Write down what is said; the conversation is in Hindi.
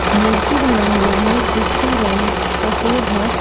मूर्ति बना हुआ है जिसका रंग सफेद है।